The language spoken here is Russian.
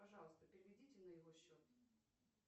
пожалуйста переведите на его счет